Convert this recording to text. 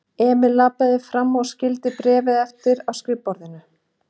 Emil labbaði fram og skyldi bréfið eftir á skrifborðinu.